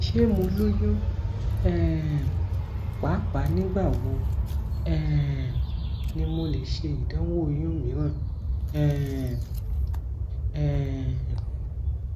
ṣe mo loyun um paapaa nigbawo um ni mo le ṣe idanwo oyun miiran um um